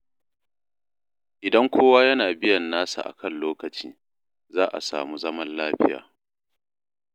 Idan kowa yana biyan nasa a kan lokaci, za a samu zaman lafiya.